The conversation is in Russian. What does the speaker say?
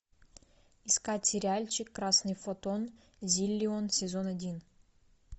искать сериальчик красный фотон зиллион сезон один